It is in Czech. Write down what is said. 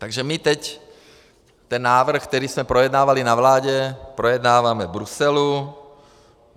Takže my teď ten návrh, který jsme projednávali na vládě, projednáváme v Bruselu.